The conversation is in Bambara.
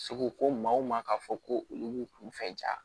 Seko ko maa o maa k'a fɔ ko olu b'u kunfɛ ja